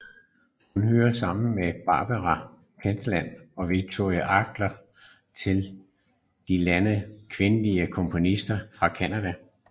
Hun hører sammen med Barbara Pentland og Violet Archer til de ledende kvindelige komponister fra Canada